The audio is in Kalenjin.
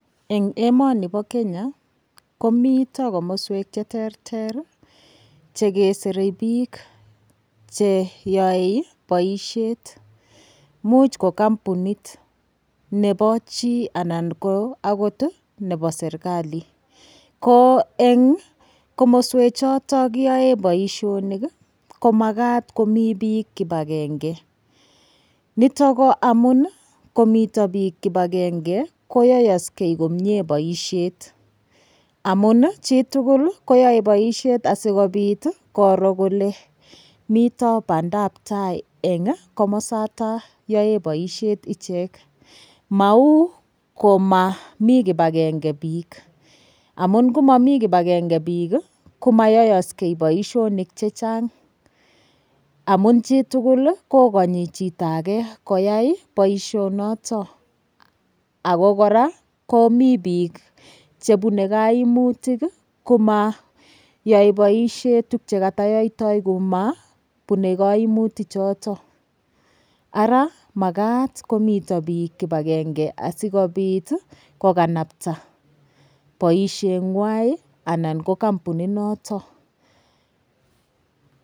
Eng' emoni bo Kenya komito komoswek cheterter chekeserei biik cheyoei boishet muuch ko kampunit nebo chi anan akot nebo serikali ko eng' komoswechoto kiyoe boishonik komakat komi biik kipagenge nitok ko amun komito biik kipagenge koyoyoskei komye boishet amun chitugul koyoei boishet sikobit koro kole mito badaptai eng' komosata yoe boishet ichek mau komamii kipagenge biik amu ngumami kipagenge biik komayoyoskei boishonik chechang' amun chitugul kokonyi chito age koyait boishonoto ako kora komi biik chebunei kaimutik komayoei boishet tukye katayoitoi kumabunei kaimutichuto ara makat komito biik kipagenge asikobit kokanapta boisheng'wai anan ko kampuninoto